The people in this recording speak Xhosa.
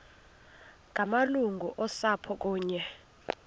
ngamalungu osapho kunye